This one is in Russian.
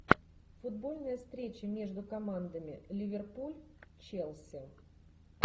футбольная встреча между командами ливерпуль челси